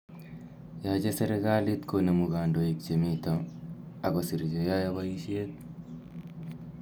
Yache serikalit konemu kandoik che mito ako sir che yae poishet